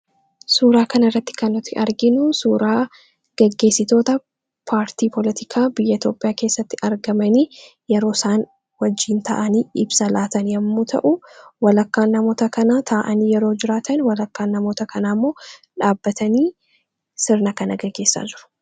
suuraa kana irratti kannuti arginuu suuraa gaggeessitoota paartii poolotikaa biyya toopiyaa keessatti argamanii yeroo isaan wajjiin ta'anii ibsa laatan yommuu ta'u walakkaan namoota kana ta'anii yeroo jiraatan walakkaan namoota kana ammoo dhaabbatanii sirna kana gaggeessaa jiru